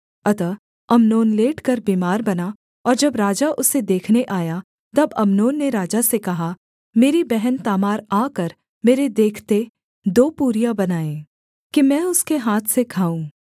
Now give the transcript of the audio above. अतः अम्नोन लेटकर बीमार बना और जब राजा उसे देखने आया तब अम्नोन ने राजा से कहा मेरी बहन तामार आकर मेरे देखते दो पूरियां बनाए कि मैं उसके हाथ से खाऊँ